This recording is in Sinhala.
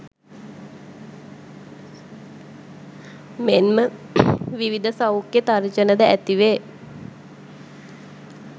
මෙන්ම විවිධ සෞඛ්‍ය තර්ජන ද ඇතිවේ.